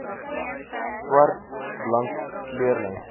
swart blank kleurling